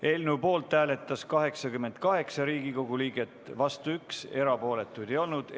Eelnõu poolt hääletas 88 Riigikogu liiget, vastu oli üks, erapooletuid ei olnud.